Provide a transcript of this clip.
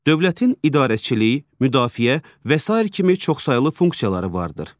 Dövlətin idarəçiliyi, müdafiə və sair kimi çoxsaylı funksiyaları vardır.